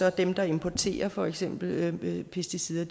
og dem der importerer for eksempel pesticider